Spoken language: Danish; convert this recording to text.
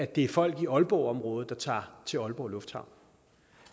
det er folk i aalborgområdet der tager til aalborg lufthavn